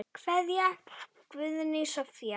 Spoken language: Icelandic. Kveðja, Guðný Soffía.